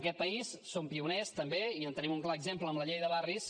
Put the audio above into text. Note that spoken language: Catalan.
aquest país som pioners també i en tenim un clar exemple en la llei de barris